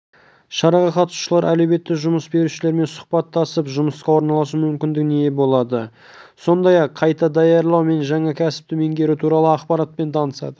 шараға қатысушылар әлеуетті жұмыс берушілермен сұхбаттасып жұмысқа орналасу мүмкіндігіне ие болады сондай-ақ қайта даярлау мен жаңа кәсіпті меңгеру туралы ақпаратпен танысады